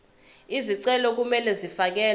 izicelo kumele zifakelwe